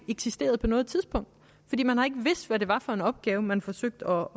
eksisteret på noget tidspunkt man har ikke vidst hvad det var for en opgave man forsøgte